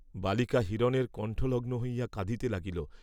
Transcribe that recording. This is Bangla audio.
বালিকা হিরণের কণ্ঠলগ্ন হইয়া কাঁদিতে লাগিল।